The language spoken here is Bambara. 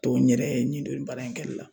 Tɔ n yɛrɛ ye n don baara in kɛli la